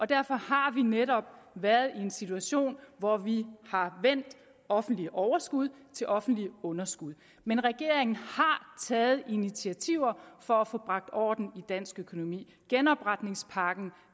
derfor har vi netop været i en situation hvor vi har vendt offentlige overskud til offentlige underskud men regeringen har taget initiativer for at få bragt orden i dansk økonomi genopretningspakken